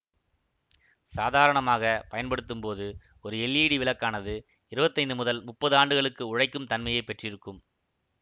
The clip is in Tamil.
சாதாரணமாக பயன்படுத்தும் போது ஒரு எல்ஈடி விளக்கானது இருபத்தி ஐந்து முதல் முப்பது ஆண்டுகளுக்கு உழைக்கும்தன்மைப் பெற்றிருக்கும்